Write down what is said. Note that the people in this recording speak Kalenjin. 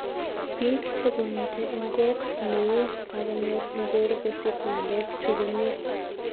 Pik chekomiten en ngok ne o kokanyor ngor kosip ngalek chu komie